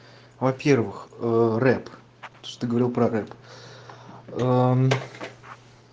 во-первых рэп что говорил про рэп